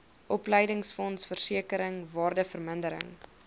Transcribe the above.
opleidingsfonds versekering waardevermindering